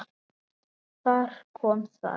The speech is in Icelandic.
Þar kom það.